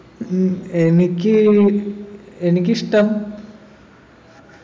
ഉം എനിക്ക് എനിക്കിഷ്ടം